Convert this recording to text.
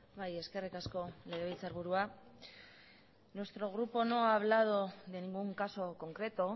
bai eskerrik asko legebiltzarburua nuestro grupo no ha hablado de ningún caso concreto